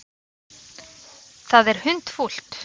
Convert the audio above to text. Það er hundfúlt.